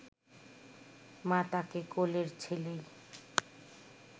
মা তাঁকে কোলের ছেলেই